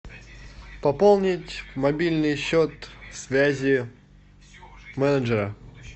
пополнить мобильный счет связи менеджера